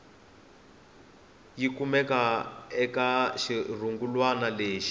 yi kumeke eka xirungulwana lexi